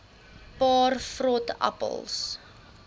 paar vrot appels